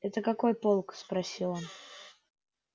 это какой полк спросил он